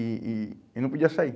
E e e não podia sair.